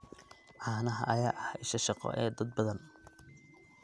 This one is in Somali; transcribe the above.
Caanaha ayaa ah isha shaqo ee dad badan.